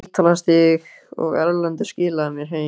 Spítalastíg, og Erlendur skilaði mér heim!